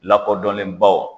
Lakɔdɔnnen baw.